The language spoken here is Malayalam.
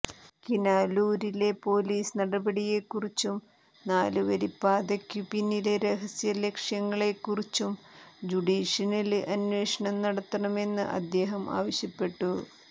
കിനാലൂരിലെ പോലീസ് നടപടിയെക്കുറിച്ചും നാലുവരിപ്പാതയ്ക്കു പിന്നിലെ രഹസ്യ ലക്ഷ്യങ്ങളെക്കുറിച്ചും ജുഡീഷ്യല് അന്വേഷണം നടത്തണമെന്ന് അദ്ദേഹം ആവശ്യപ്പെട്ടു